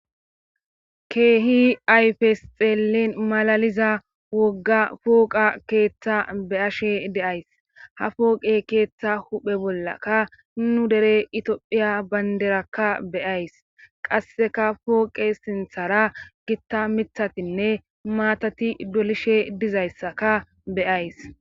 keehi ayfes xeellin malaliza wogga fooqa keeththa be ashe deays ha fooqe keeththa huphe bollaka nu dere itophiya baynderakka beyays qasseka pooqe sinthara gitta mithatinne maatati dolishe dizayssaka beyays